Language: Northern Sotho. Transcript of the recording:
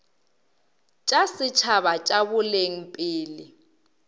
tša setšhaba tša boleng pele